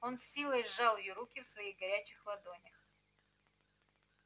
он с силой сжал её руки в своих горячих ладонях